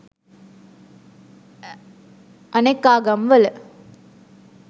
අනෙක් ආගම් වල